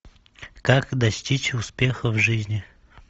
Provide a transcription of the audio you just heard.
как достичь успеха в жизни